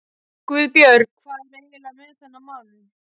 GUÐBJÖRG: Hvað er eiginlega með þennan mann?